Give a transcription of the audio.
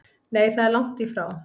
Nei það er lagt í frá